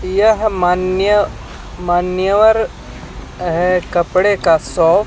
यह मान्य मान्यवर है कपड़े का शोप --